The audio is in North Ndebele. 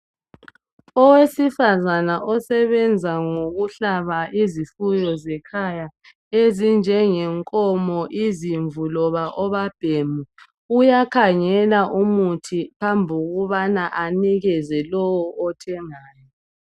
Owesifazana osebenza ngokuhlaba izifuyo zekhaya ezifana lenkomo izimvu loba obabhemi uyakhangela umuthi phambi kokubana anikeze imali lowu ethengisayo